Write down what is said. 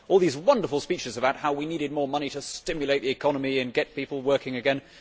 All these wonderful speeches about how we needed more money to stimulate the economy and get people working again.